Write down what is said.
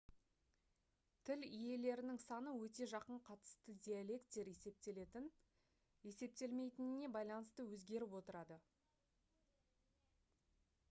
тіл иелерінің саны өте жақын қатысты диалекттер есептелетін-есептелмейтініне байланысты өзгеріп отырады